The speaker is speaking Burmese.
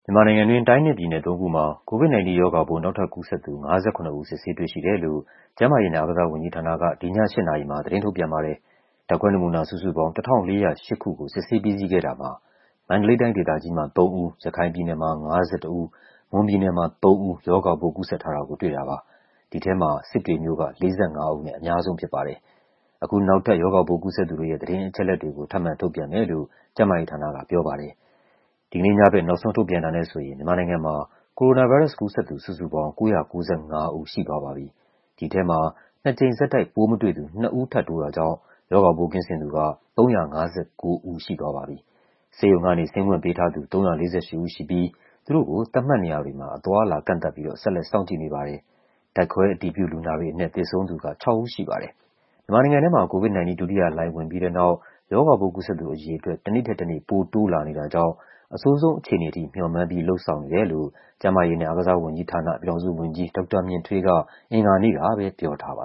မြန်မာနိုင်ငံတွင်း တိုင်းနဲ့ပြည်နယ် သုံးခုမှာ COVID-19 ရောဂါပိုး နောက်ထပ်ကူးစက်သူ ၅၇ ဦး စစ်ဆေး တွေ့ရှိတယ်လို့ ကျန်းမာရေးနဲ့အားကစားဝန်ကြီးဌာနက ဒီည ၈ နာရီမှာ သတင်းထုတ်ပြန်ပါတယ်။ ဓာတ်ခွဲနမူနာ စုစုပေါင်း ၁,၄၀၈ ကို စစ်ဆေးပြီးစီးခဲ့တာမှာ မန္တလေးတိုင်းဒေသကြီးမှာ ၃ ဦး၊ ရခိုင်ပြည်နယ်မှာ ၅၁ ဦး၊ မွန်ပြည်နယ်မှာ ၃ ဦး ရောဂါပိုး ကူးစက်ထားတာကို တွေ့တာပါ။ ဒီထဲမှာ စစ်တွေမြို့က ၄၅ ဦးနဲ့ အများဆုံးဖြစ်ပါတယ်။ အခု နောက်ထပ် ရောဂါပိုးကူးစက်သူတွေရဲ့ သတင်းအချက်အလက်တွေကို ထပ်မံထုတ်ပြန်မယ်လို့ ကျန်းမာရေးဌာနကပြောပါတယ်။ ဒီကနေ့ညဘက် နောက်ဆုံးထုတ်ပြန်တာနဲ့ဆိုရင် မြန်မာနိုင်ငံမှာ ကိုရိုနာဗိုင်းရပ်စ်ကူးစက်သူ စုစုပေါင်း ၉၉၅ ဦး ရှိသွားပြီဖြစ်ပါတယ်။ ဒီထဲမှာ ၂ ကြိမ်ဆက်တိုက် ပိုးမတွေ့သူ ၂ ဦးထပ်တိုးတာကြောင့် ရောဂါပိုးကင်းစင်သူက ၃၅၉ ဦးရှိသွားပါပြီ။ ဆေးရုံကနေ ဆင်းခွင့်ပေးထားသူက ၃၄၈ ဦးရှိပြီး သူတို့ကို သတ်မှတ်နေရာတွေမှာ အသွားအလာ ကန့်သတ်ပြီးတော့ ဆက်လက် စောင့်ကြည့်နေပါတယ်။ ဓာတ်ခွဲအတည်ပြု လူနာတွေအနက် သေဆုံးသူက ၆ ဦးရှိပါတယ်။ မြန်မာနိုင်ငံထဲမှာ COVID-19 ဒုတိယလှိုင်း ဝင်ပြီးတဲ့နောက် ရောဂါပိုးကူးစက်သူအရေအတွက် တနေ့ထက်တနေ့ ပိုတိုးလာနေတာကြောင့် အဆိုးဆုံးအခြေအနေထိ မေ ျှာ်မှန်းပြီး လုပ်ဆောင်နေတယ်လို့ ကျန်းမာရေးနဲ့ အားကစားဝန်ကြီးဌာန ပြည်ထောင်စုဝန်ကြီး ဒေါက်တာမြင့်ထွေးက အင်္ဂါနေ့ကပဲ ပြောထားပါ